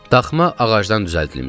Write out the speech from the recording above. Daxma ağacdan düzəldilmişdi.